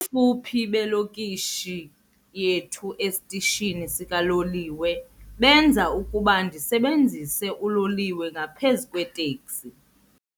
fuphi belokishi yethu esitishini sikaloliwe benza ukuba ndisebenzise uloliwe ngaphezu kweeteksi.